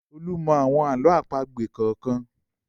Olú mọ́ àwọn àlọ́ àpagbè kọ̀ọ̀kan.